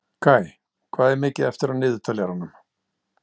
Kaj, hvað er mikið eftir af niðurteljaranum?